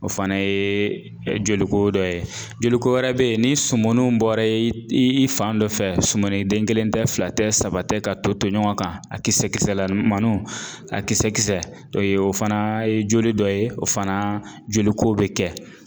O fana ye joliko dɔ ye joliko wɛrɛ bɛyi ni sumuniw bɔra i fan dɔ fɛ sumuni den kelen tɛ fila tɛ saba tɛ ka toto ɲɔgɔn kan a kisɛkisɛlamaninw a kisɛ kisɛ o fana ye joli dɔ ye o fana joliko bɛ kɛ.